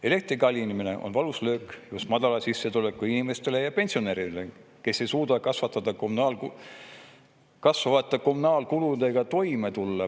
Elektri kallinemine on valus löök just madala sissetulekuga inimestele ja pensionäridele, kes ei suuda kasvavate kommunaalkuludega toime tulla.